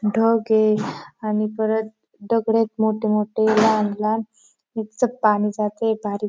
ढग ए आणि परत दगडयेत मोठे मोठे लहान लहान पाणी जातय बारीक.